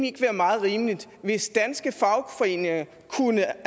ikke være meget rimeligt hvis danske fagforeninger kunne